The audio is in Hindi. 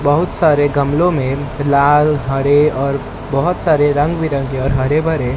बहुत सारे गमलों में फिलहाल हरे और बहोत सारे रंग बिरंगे और हरे भरे--